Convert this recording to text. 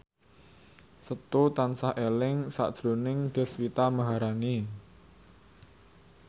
Setu tansah eling sakjroning Deswita Maharani